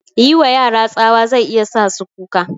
Yiwa yara tsawa zai iya sa su kuka